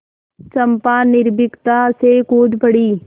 चंपा निर्भीकता से कूद पड़ी